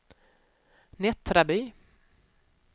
Nättraby